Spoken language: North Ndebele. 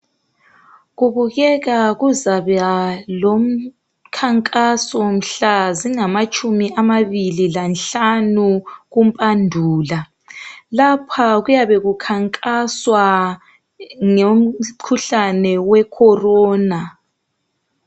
Kubukeka kuzaba lomkhankaso mhla zingamatshumi amabili lanhlanu ku Mpandula lapha kuyabe kukhankaswa ngomkhuhlane we corona